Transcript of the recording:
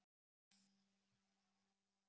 Flúðir er í Hrunamannahreppi.